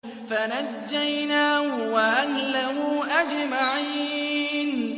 فَنَجَّيْنَاهُ وَأَهْلَهُ أَجْمَعِينَ